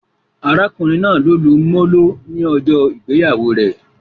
Arákùnrin náà lo lu molo ni ọjọ ìgbéyàwó rẹ